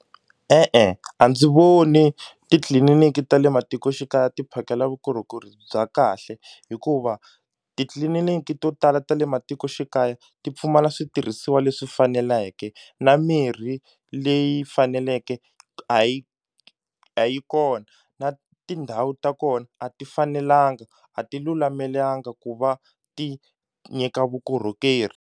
E-e, a ndzi voni titliliniki ta le matikoxikaya ti phakela vukorhokeri bya kahle hikuva titliliniki to tala ta le matikoxikaya ti pfumala switirhisiwa leswi faneleke na mirhi leyi faneleke a yi a yi kona na tindhawu ta kona a ti fanelanga a ti lulamelanga ku va ti nyika vukorhokeri.